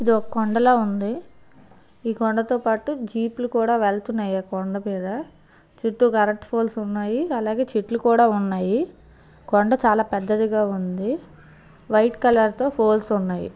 ఇదొక కొండలా ఉంది ఈ కొండతో పాటు జీపులు కూడా వెళ్తున్నాయి. ఆ కొండ మీద చుట్టూ కరెంట్ పోల్స్ ఉన్నాయి అలాగే చెట్లు కూడా ఉన్నాయి. కొండా చాలా పెద్దదిగా ఉంది. వైట్ కలర్ తో పోల్స్ ఉన్నాయి.